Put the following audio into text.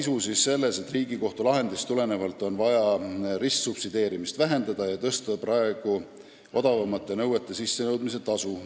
Asja sisu on selles, et Riigikohtu lahendist tulenevalt on vaja ristsubsideerimist vähendada ja praeguste odavamate nõuete sissenõudmise tasu suurendada.